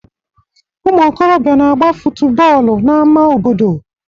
Umuokorobia n'agba futu bọọlụ n'ama obodo